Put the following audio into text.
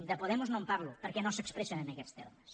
de podemos no en parlo perquè no s’expressen en aquests termes